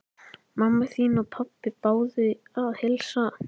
Mamma þín og pabbi báðu að heilsa.